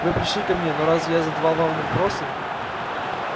вы пришли ко мне но разве я задавал вам вопросы